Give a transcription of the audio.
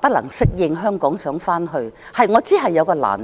不能適應香港，想回去內地，我知道是有難度的。